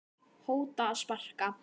hóta að sparka